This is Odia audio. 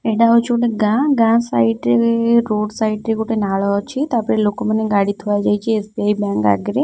ଏଇଟା ହଉଛି ଗୋଟେ ଗାଁ ଗାଁ ସାଇଡ୍‌ ରେ ରୋଡ ସାଇଡ୍‌ ରେ ଗୋଟେ ନାଳ ଅଛି ତାପରେ ଲୋକମାନେ ଗାଡି ଥୁଆ ଯାଇଛି ଏସବିଆଇ ବ୍ୟାଙ୍କ ଆଗରେ --